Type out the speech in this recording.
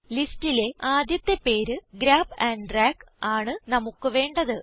ലിസ്റ്റിലെ ആദ്യത്തെ പേര് ഗ്രാബ് ആൻഡ് ഡ്രാഗ് ആണ് നമുക്ക് വേണ്ടത്